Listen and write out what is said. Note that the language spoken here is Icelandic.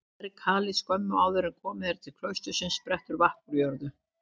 Undir berghalli skömmu áður en komið er til klaustursins sprettur vatn úr jörðu.